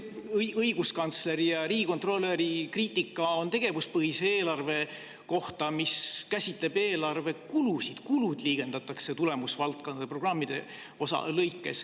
Õiguskantsleri ja riigikontrolöri kriitika on tegevuspõhise eelarve kohta, mis käsitleb eelarve kulusid, kulud liigendatakse tulemusvaldkondade ja programmide kaupa.